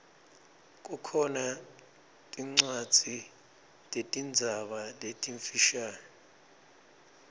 kukhona tincwadzi tetinzaba letimfisha